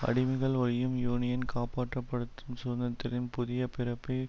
அடிமைகள் ஒழிப்பும் யூனியன் காப்பாற்றப்படதும் சுதந்திரத்தின் புதிய பிறப்பை